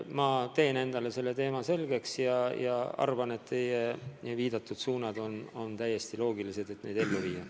Ma teen endale selle teema selgeks, aga arvan, et teie viidatud suunad on täiesti loogilised ja need tuleb ellu viia.